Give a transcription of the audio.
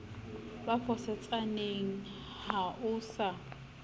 ba fosetsaneng ha o sa